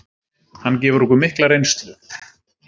Hann gefur okkur mikla reynslu.